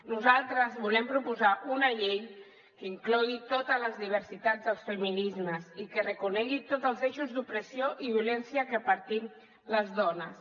nosaltres volem proposar una llei que inclogui totes les diversitats dels feminismes i que reconegui tots els eixos d’opressió i violència que patim les dones